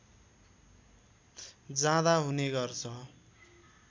जाँदा हुने गर्छ